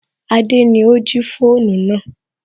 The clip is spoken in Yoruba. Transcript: Adé ni ó jí fóònù náà